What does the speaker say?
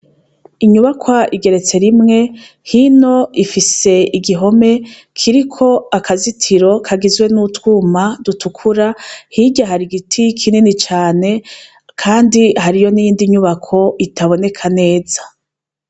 Inyubakwa igeretse rimwe, hino ifise igihome kiriko akazitiro kagizwe n'utwuma dutukura. Hirya hari igiti kinini cane kandi hariyo n'iyindi nyubako itaboneka neza.